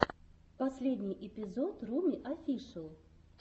последний эпизод руми офишэл